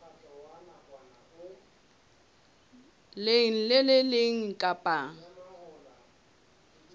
leng le le leng kapa